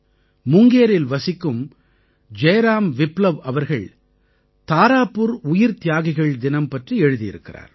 முங்கேரில் வசிக்கும் ஜெய்ராம் விப்லவ் அவர்கள் தாராபுர் உயிர்த்தியாகிகள் தினம் பற்றி எழுதியிருக்கிறார்